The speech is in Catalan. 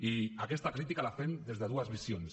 i aquesta crítica la fem des de dues visions